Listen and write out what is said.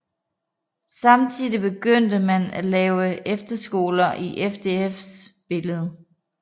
Samtidig begyndte man at lave efterskoler i FDFs billede